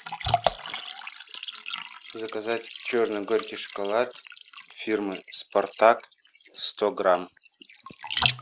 заказать черный горький шоколад фирмы спартак сто грамм